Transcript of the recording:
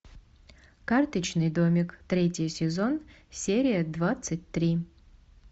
карточный домик третий сезон серия двадцать три